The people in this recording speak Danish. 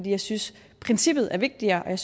jeg synes at princippet er vigtigere og jeg